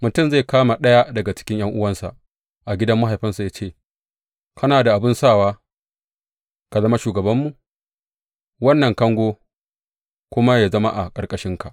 Mutum zai kama ɗaya daga cikin ’yan’uwansa a gidan mahaifinsa ya ce, Kana da abin sawa, ka zama shugabanmu; wannan kango kuma yă zama a ƙarƙashinka!